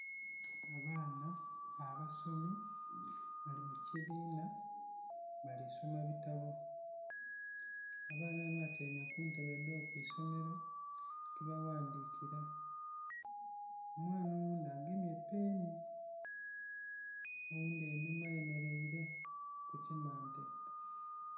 Abaana abasomi bali mukibina bali sooma ebitabo, abaana bano batyaime kuntebe edho kwisomero kwebaghandhira. Omwana oghundhi agemye peeni oghundhi einhuma ayemereire kukimante.